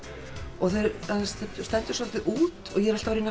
og það stendur soldið út og ég er alltaf að reyna að